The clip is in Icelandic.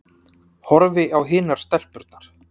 Horfi á hinar stelpurnar.